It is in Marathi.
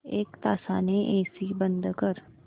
एक तासाने एसी बंद कर